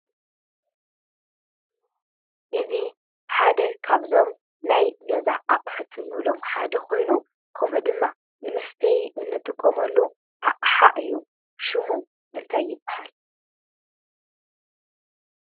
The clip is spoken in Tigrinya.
እዚ ሓደ ካብዞም ናይ ገዛ ኣቑሑት እንብሎም ሓደ ኮይኑ ከምኡ ድማ ንመስተይ እንጠቀመሉ ኣቕሓ እዩ ።ስሙ እንታይ ይበሃል?